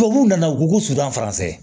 Tubabuw nana u ko ko sutura